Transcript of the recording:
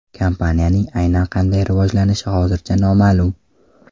Kompaniyaning aynan qanday rivojlanishi hozircha noma’lum.